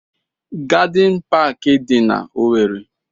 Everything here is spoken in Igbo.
Gadịn paakị dị n'Owerre.